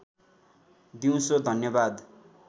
दिउँसो धन्यवाद